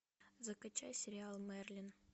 закачай сериал мерлин